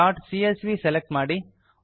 contacts CSV select ಮಾಡಿ